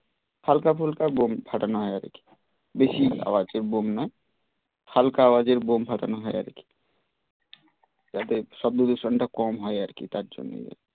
হালকা ফুলকা বোম ফাটানো হয় আর কি, বেশি আওয়াজের বোম নয় হালকা আওয়াজের বোম ফাটানো হয় আর কি যাতে শব্দ দূষণটা কম হয় আর কি তার জন্যে